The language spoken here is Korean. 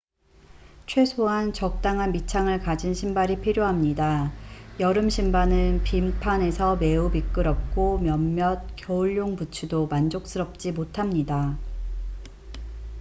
최소한 적당한 밑창을 가진 신발이 필요합니다 여름 신발은 빙판에서 매우 미끄럽고 몇몇 겨울용 부츠도 만족스럽지 못합니다